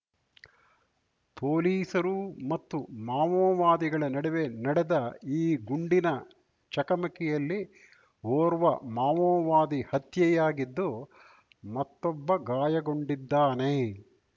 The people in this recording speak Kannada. ಪೊಲೀಸರು ಮತ್ತು ಮಾವೋವಾದಿಗಳ ನಡುವೆ ನಡೆದ ಈ ಗುಂಡಿನ ಚಕಮಕಿಯಲ್ಲಿ ಓರ್ವ ಮಾವೋವಾದಿ ಹತ್ಯೆಯಾಗಿದ್ದು ಮತ್ತೊಬ್ಬ ಗಾಯಗೊಂಡಿದ್ದಾನೆ